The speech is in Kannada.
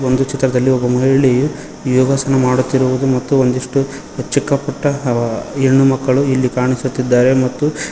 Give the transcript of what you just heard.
ಒಂದು ಚಿತ್ರದಲ್ಲಿ ಒಬ್ಬ ಮಹಿಳೆಯು ಯೋಗಾಸನ ಮಾಡುತ್ತಿರುವುದು ಮತ್ತು ಒಂದಿಷ್ಟು ಚಿಕ್ಕ ಪುಟ್ಟ ಅವ ಹೆಣ್ಣು ಮಕ್ಕಳು ಇಲ್ಲಿ ಕಾಣಿಸುತ್ತಿದ್ದಾರೆ ಮತ್ತು.